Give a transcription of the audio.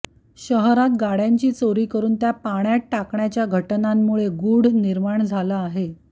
शहरात गाड्यांची चोरी करुन त्या पाण्यात टाकण्याच्या घटनांमुळे गुढ निर्माण झालं आहे